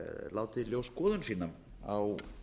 látið í ljós skoðun sína á